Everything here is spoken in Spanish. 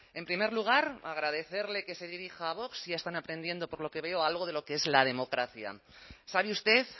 en primer lugar agradecerle que se dirija a vox ya están aprendiendo por lo que veo algo de lo que es la democracia sabe usted